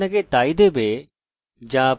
এটি ব্যবহারকারীর জন্য ইকো করছি না